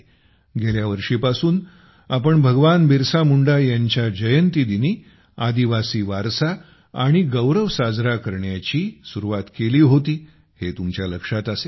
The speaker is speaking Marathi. गेल्या वर्षीपासून आपण भगवान बिरसा मुंडा यांच्या जयंतीदिनी आदिवासी वारसा आणि गौरव साजरा करण्याचीसुरुवात केली होती हे तुमच्या लक्षात असेलच